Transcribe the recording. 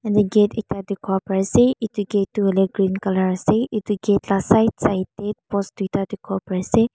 yati gate ekta tekibo bare ase eto gate toh hoilitoh green colour ase eto gate la side side teh post tuita teki ase.